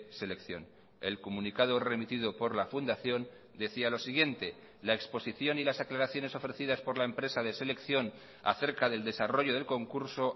selección el comunicado remitido por la fundación decía lo siguiente la exposición y las aclaraciones ofrecidas por la empresa de selección acerca del desarrollo del concurso